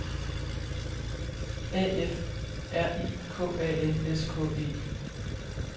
A F R I K A N S K E